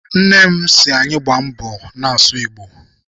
Nne m si anyị gbaa mbọ na-asụ Igbo.